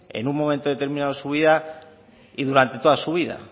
en un momento determinado de su vida y durante toda su vida